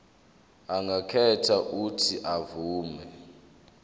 angakhetha uuthi avume